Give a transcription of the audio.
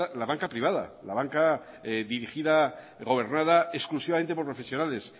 la banca privada la banca dirigida gobernada exclusivamente por profesionales